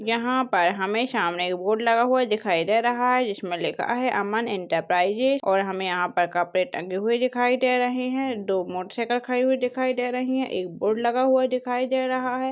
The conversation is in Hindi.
यहाँ पर हमें सामने एक बोर्ड लगा हुआ दिखाई दे रहा है इसमें लिखा है अमन एंटरप्राइजेज और हमें यहाँ पर कपड़े टंगे हुए दिखाई दे रहे हैं दो मोटरसाइकिल खड़ी हुई दिखाई दे रही है एक बोर्ड लगा हुआ दिखाई दे रहा है।